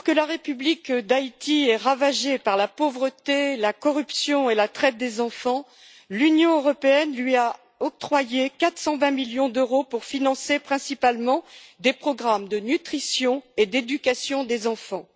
Madame la Présidente, alors que la République d'Haïti est ravagée par la pauvreté, la corruption et la traite des enfants, l'Union européenne lui a octroyé 420 millions d'euros pour financer principalement des programmes de nutrition et d'éducation des enfants.